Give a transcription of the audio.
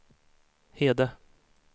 Hede